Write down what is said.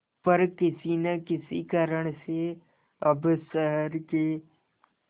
पर किसी न किसी कारण से अब शहर के